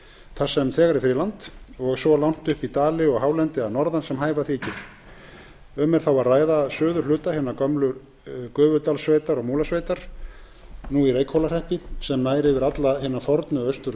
þar sem þegar er friðland og svo langt upp í dali og hálendi að norðan sem hæfa þykir um er að ræða suðurhluta hinnar gömlu gufudalssveitar og múlasveitar nú í reykhólahreppi sem nær yfir alla hina fornu austur